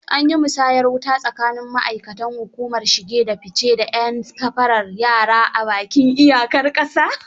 An yi musayar wuta tsakanin ma'aikatan hukumar shige da fi ce da 'yan safarar yara a bakin iyar ƙasa.